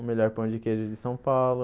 O melhor pão de queijo de São Paulo.